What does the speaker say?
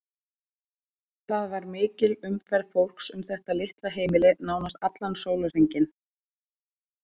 Það var mikil umferð fólks um þetta litla heimili nánast allan sólarhringinn.